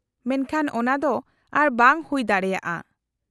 -ᱢᱮᱱᱠᱷᱟᱱ ᱚᱱᱟ ᱫᱚ ᱟᱨ ᱵᱟᱝ ᱦᱩᱭ ᱫᱟᱲᱮᱭᱟᱜᱼᱟ ᱾